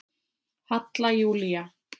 Halla Júlía.